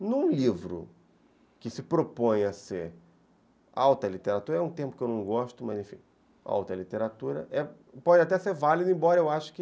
Num livro que se propõe a ser alta literatura, é um termo que eu não gosto, mas enfim, alta literatura, pode até ser válido, embora eu ache que